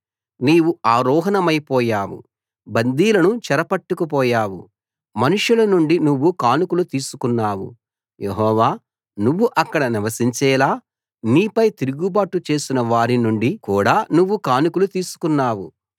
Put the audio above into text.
నీవు ఆరోహణమైపోయావు బందీలను చెరపట్టుకుపోయావు మనుషుల నుండి నువ్వు కానుకలు తీసుకున్నావు యెహోవా నువ్వు అక్కడ నివసించేలా నీపై తిరుగుబాటు చేసిన వారి నుండి కూడా నువ్వు కానుకలు తీసుకున్నావు